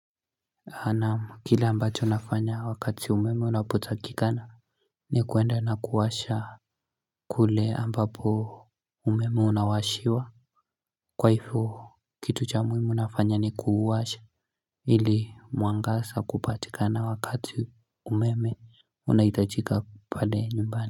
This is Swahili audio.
Anamu kile ambacho nafanya wakati umeme unapotakikana ni kuenda na kuwasha kule ambapo umeme unawashiwa Kwaifo kitu cha muhimu nafanya ni kuuwasha ili muangasa kupatikana wakati umeme unaitajika pale nyumbani.